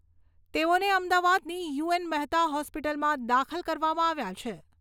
તેઓને અમદાવાદની યુ.એન.મહેતા હોસ્પિટલમાં દાખલ કરવામાં આવ્યા છે.